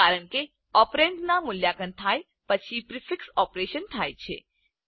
કારણ કે ઓપરેન્ડના મૂલ્યાંકન થાય પછી પ્રીફિક્સ ઓપરેશન થાય છે